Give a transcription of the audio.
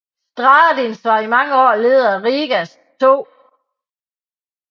Stradiņš var i mange år leder af Rigas 2